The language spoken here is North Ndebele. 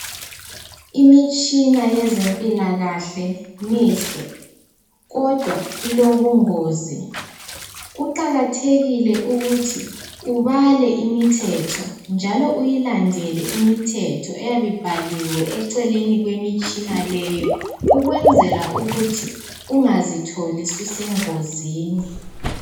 Imitshina yezempilakahle mihle kodwa ilobungozi. Kuqakathekile ukuthi ubale imithetho njalo uyilandele imithetho eyabe ibhaliwe eceleni kwemitshina leyo ukwenzela ukuthi ungazitholi susengozini.